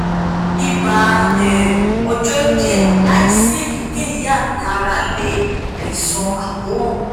iba um ojo diẹ laisi eyikeyi ami ara le aisan akoran